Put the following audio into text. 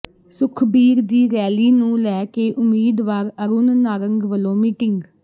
ਸੁਖਬੀਰ ਦੀ ਰੈਲੀ ਨੂੰ ਲੈ ਕੇ ਉਮੀਦਵਾਰ ਅਰੁਣ ਨਾਰੰਗ ਵੱਲੋਂ ਮੀਟਿੰਗ